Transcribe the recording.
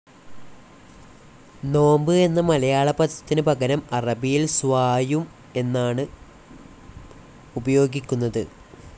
നോമ്പ് എന്ന മലയാള പദത്തിന് പകരം അറബിയിൽ സ്വായും എന്നാണ് ഉപയോഗിക്കുന്നത്.